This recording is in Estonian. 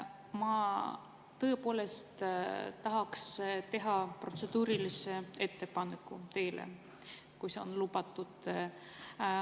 Ma tõepoolest tahaks teha teile protseduurilise ettepaneku, kui see on lubatud.